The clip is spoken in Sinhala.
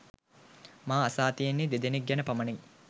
මා අසා තියෙන්නේ දෙදෙනෙක් ගැන පමණයි.